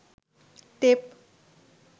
tape